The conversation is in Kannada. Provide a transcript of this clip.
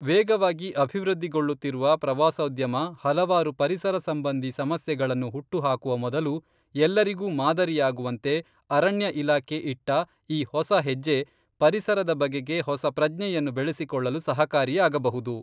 ವೇಗವಾಗಿ ಅಭಿವೃದ್ಧಿಗೊಳ್ಳುತ್ತಿರುವ ಪ್ರವಾಸೋದ್ಯಮ ಹಲವಾರು ಪರಿಸರ ಸಂಬಂಧಿ ಸಮಸ್ಯೆಗಳನ್ನು ಹುಟ್ಟುಹಾಕುವ ಮೊದಲು ಎಲ್ಲರಿಗೂ ಮಾದರಿಯಾಗುವಂತೆ ಅರಣ್ಯ ಇಲಾಖೆ ಇಟ್ಟ ಈ ಹೊಸ ಹೆಜ್ಜೆ ಪರಿಸರದ ಬಗೆಗೆ ಹೊಸ ಪ್ರಜ್ಞೆಯನ್ನು ಬೆಳೆಸಿಕೊಳ್ಳಲು ಸಹಕಾರಿಯಾಗಬಹುದು.